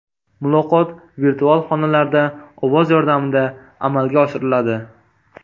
Muloqot virtual xonalarda ovoz yordamida amalga oshiriladi.